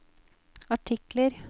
artikler